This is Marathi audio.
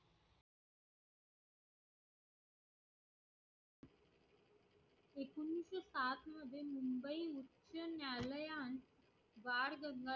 बाळ गंगाधर